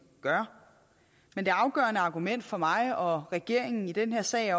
gør men det afgørende argument for mig og regeringen i den her sag